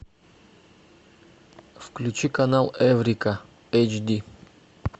включи канал эврика эйч ди